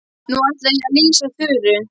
Nú ætla ég að lýsa Þuru.